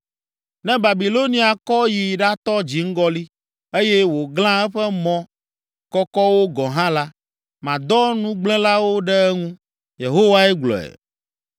Ne Babilonia kɔ yi ɖatɔ dziŋgɔli, eye wòglã eƒe mɔ kɔkɔwo gɔ̃ hã la, madɔ nugblẽlawo ɖe eŋu.” Yehowae gblɔe.